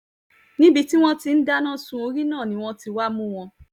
níbi tí àwọn tí ń dáná sun orí náà ni wọ́n ti wáá mú àwọn